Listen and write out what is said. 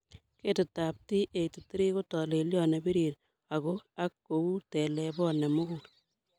Ketitab T83 ko tolelion nebirir agoak kou telebot nemugul.